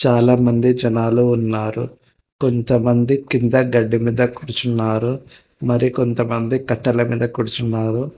చాలా మంది జనాలు ఉన్నారు కొంతమంది కింద గడ్డి మీద కూర్చున్నారు మరికొంత మంది మీద కట్టెల మీద కూర్చున్నారు.